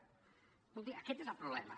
escolti aquest és el problema